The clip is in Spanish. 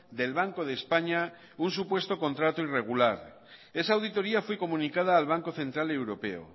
del banco de españa un supuesto contrato irregular esa auditoría fue comunicada al banco central europeo